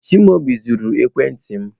Chimaobi zuru ekwentị m.